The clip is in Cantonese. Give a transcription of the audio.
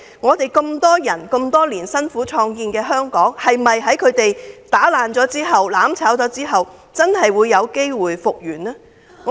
我們合眾人之力多年來辛苦創建的香港被他們破壞和"攬炒"後，是否真可復原？